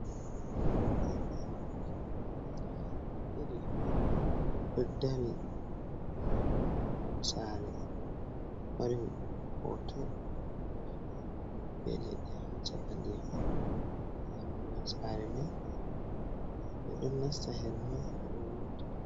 Nɗa himbe ɗidi do dari ha mahol sare, mari ho to owenɗum be leɗɗe ha chaka ndiyam man. ɗammugal sare man be ɗon nasta her man be ɗo wurta.